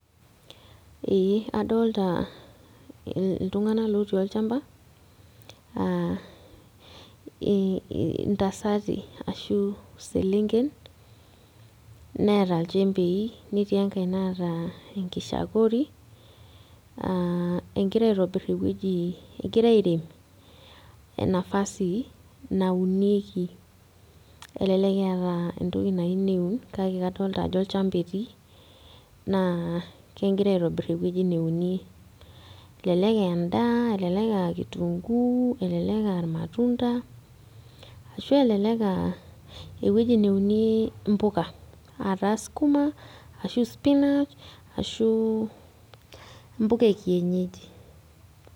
Eh adolta iltung'anak lotii olchamba aa ii intasatii ashu iselenken neeta ilchembai netii enkae naata enkishakuri egira aitobirr ewueji egira airem enafasi naunieki elelek eeta entoki nayieu neun kake kadolta ajo olchamba etii naa kegira aitobirr ewueji neunie elelek aa endaa elelek aa kitunguu elelek aa irmatunda ashu elelek aa ewueji neuni impuka ataa skuma ashu spinach ashu impuka e kienyeji.